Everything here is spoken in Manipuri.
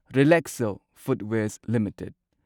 ꯔꯤꯂꯦꯛꯁꯣ ꯐꯨꯠꯋꯦꯔꯁ ꯂꯤꯃꯤꯇꯦꯗ